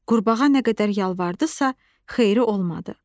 Qurbağa nə qədər yalvarırdısa, xeyiri olmadı.